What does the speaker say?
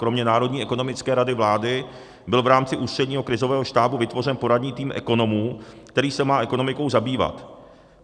Kromě Národní ekonomické rady vlády byl v rámci Ústředního krizového štábu vytvořen poradní tým ekonomů, který se má ekonomikou zabývat.